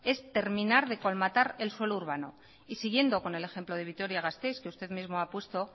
es terminar de colmatar el suelo urbano y siguiendo con el ejemplo de vitoria gasteiz que usted mismo ha puesto